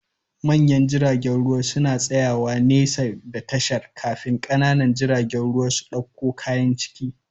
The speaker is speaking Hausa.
Manyan jiragen ruwa suna tsayawa nesa da tashar, kafin ƙanana jiragen ruwa su ɗauko kayan ciki